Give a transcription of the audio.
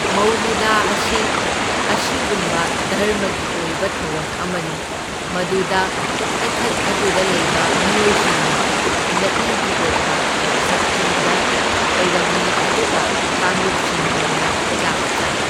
ꯃꯧꯂꯨꯗ ꯑꯁꯤ ꯑꯁꯤꯒꯨꯝꯕ ꯙꯔꯃꯒꯤ ꯑꯣꯏꯕ ꯊꯧꯔꯝ ꯑꯃꯅꯤ, ꯃꯗꯨꯗ ꯏꯊꯠ ꯑꯗꯨꯗ ꯂꯩꯕ ꯃꯤꯑꯣꯏꯁꯤꯡꯅ ꯂꯩꯏꯒꯤ ꯑꯣꯏꯕ ꯁꯛꯇꯤꯗ ꯈꯣꯏꯔꯝꯃꯤ ꯑꯗꯨꯒ ꯀꯥꯡꯂꯨꯞꯁꯤꯡ ꯑꯣꯏꯅ ꯆꯥꯛ ꯆꯥꯏ꯫